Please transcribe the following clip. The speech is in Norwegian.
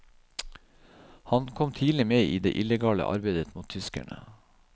Han kom tidlig med i det illegale arbeidet mot tyskerne.